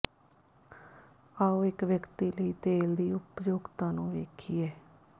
ਆਉ ਇੱਕ ਵਿਅਕਤੀ ਲਈ ਤੇਲ ਦੀ ਉਪਯੋਗਤਾ ਨੂੰ ਵੇਖੀਏ